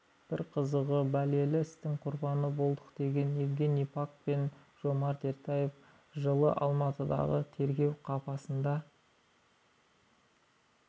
бір қызығы бәлелі істің құрбаны болдық деген евгений пак пен жомарт ертаев жылы алматыдағы тергеу қапасында